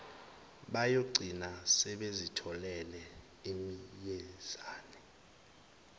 bayogcina sebezitholele iminyezane